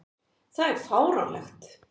Það er fáránlegt.